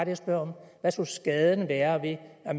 jeg spørger om hvad skulle skaden være ved at